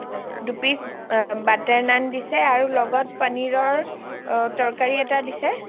দো piece butter naan দিছে লগত পনীৰ ৰ তৰকাৰী এটা দিছে